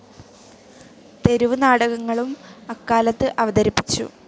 തെരുവ് നാടകങ്ങളും അക്കാലത്ത് അവതരിപ്പിച്ചു.